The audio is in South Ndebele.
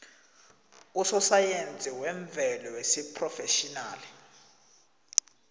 usosayensi wemvelo wesiphrofetjhinali